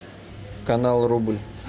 канал рубль